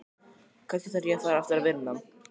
Kannski þarf ég að fara aftur að vinna.